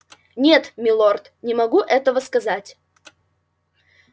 нет милорд не могу этого сказать